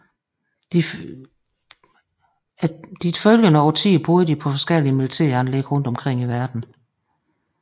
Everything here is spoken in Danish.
De følgende årtier boede de på forskellige militæranlæg rundt i verden